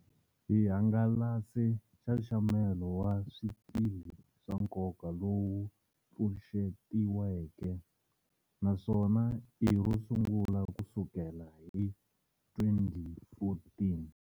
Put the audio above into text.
Hi hangalase Nxaxamelo wa Swikili swa Nkoka lowu pfuxetiweke, naswona i rosungula kusukela hi 2014.